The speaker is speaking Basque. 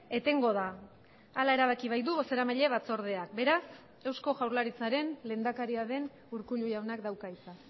etengo da hala erabaki baitu bozeramaile batzordeak beraz eusko jaurlaritzaren lehendakaria den urkullu jaunak dauka hitza